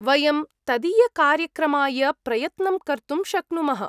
वयं तदीयकार्यक्रमाय प्रयत्नं कर्तुं शक्नुमः।